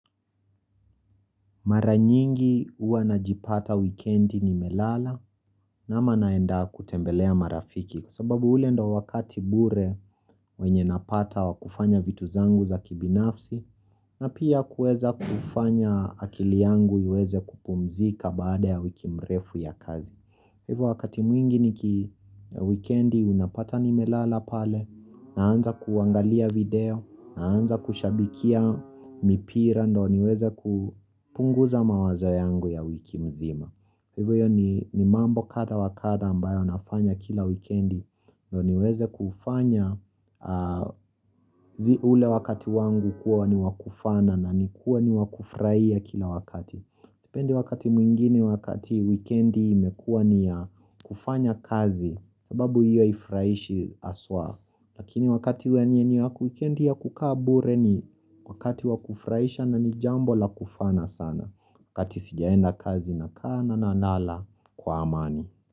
Mara nyingi uanajipata weekendi nimelala naenda kutembelea marafiki Kwa sababu ule ndo wakati bure wenye napata wakufanya vitu zangu za kibinafsi na pia kuweza kufanya akili yangu iweze kupumzika baada ya wiki mrefu ya kazi hivu wakati mwingi niki weekendi unapata ni melala pale Naanza kuangalia video, naanza kushabikia mipira, ndo niweze kupunguza mawazo yangu ya wiki mzima Hivyo ni mambo kada wakada ambayo nafanya kila wikendi, ndo niweze kufanya ule wakati wangu kuwa ni wakufana na ni kuwa ni wakufraia kila wakati Sipende wakati mwingine wakati wikendi mekuwa ni ya kufanya kazi sababu hiyo ifraishi aswa. Lakini wakati wenye ni wakukendi ya kukabure ni wakati wakufraisha na ni jambo la kufana sana wakati sijaenda kazi na kana na nala kwa amani.